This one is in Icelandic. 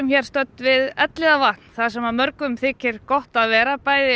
við Elliðavatn þar sem mörgum þykir gott að vera bæði